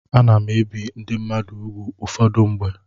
Ana m ebi ndị mmadụ úgwù ụfọdụ mgbe.